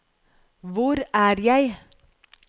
hvor er jeg